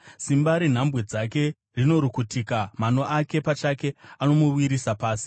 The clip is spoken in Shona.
Simba renhambwe dzake rinorukutika; mano ake pachake anomuwisira pasi.